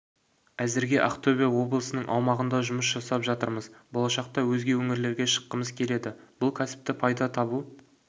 әзірге ақтөбе облысының аумағында жұмыс жасап жатырмыз болашақта өзге өңірлерге шыққымыз келеді бұл кәсіпті пайда табу